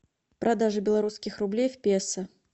продажа белорусских рублей в песо